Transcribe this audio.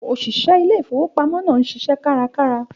Òṣìṣẹ́ ilé ìfowópamọ́ náà ń ṣiṣẹ́ kárakára.